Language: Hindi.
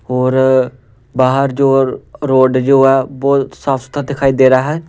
और बाहर जो रोड जो है वह साफ सुधरा दिखाई दे रहा है।